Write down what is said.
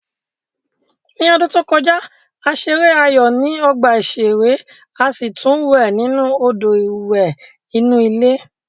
Ní ọdún tó kọjá, a ṣeré aayò ní ọgbà ìṣeré a sì tún wẹ̀ nínú Odò ìwẹ̀ inú ilé